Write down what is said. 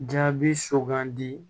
Jaabi sugandi